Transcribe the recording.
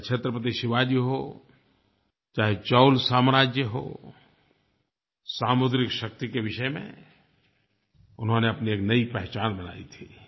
चाहे छत्रपति शिवाजी हों चाहे चोल साम्राज्य हो सामुद्रिक शक्ति के विषय में उन्होंने अपनी एक नई पहचान बनाई थी